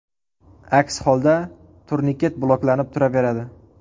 Aks holda, turniket bloklanib turaveradi.